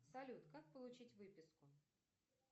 салют как получить выписку